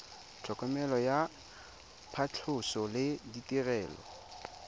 tlhokomelo ya phatlhoso le ditirelo